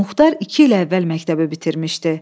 Muxtar iki il əvvəl məktəbi bitirmişdi.